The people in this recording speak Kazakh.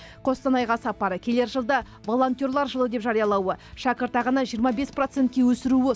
қостанайға сапары келер жылды волонтерлар жылы деп жариялауы шәкіртақыны жиырма бес процентке өсіруі